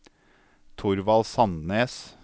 Thorvald Sandnes